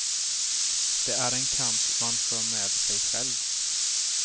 Det är en kamp man för med sig själv.